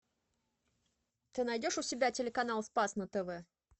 ты найдешь у себя телеканал спас на тв